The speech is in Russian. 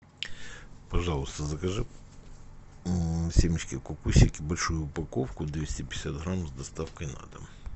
пожалуйста закажи семечки кукусики большую упаковку двести пятьдесят грамм с доставкой на дом